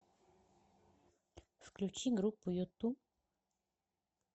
включи группу юту